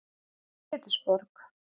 Pétursborg